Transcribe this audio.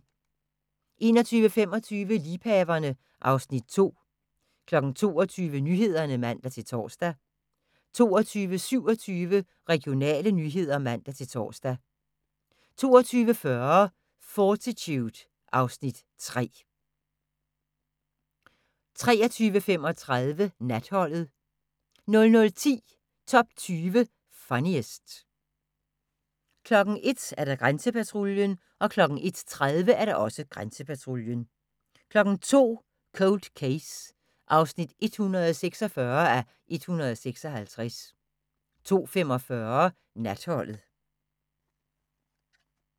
21:25: Liebhaverne (Afs. 2) 22:00: Nyhederne (man-tor) 22:27: Regionale nyheder (man-tor) 22:40: Fortitude (Afs. 3) 23:35: Natholdet 00:10: Top 20 Funniest 01:00: Grænsepatruljen 01:30: Grænsepatruljen 02:00: Cold Case (146:156) 02:45: Natholdet